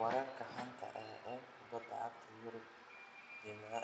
Wararka xanta ah ee kubada cagta Yurub Jimce